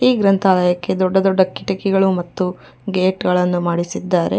ಈ ಗ್ರಂಥಾಲಯಕ್ಕೆ ದೊಡ್ಡ ದೊಡ್ಡ ಕಿಟಕಿಗಳೂ ಮತ್ತು ಗೇಟ್ ಅಳನ್ನು ಮಾಡಿಸಿದ್ದಾರೆ.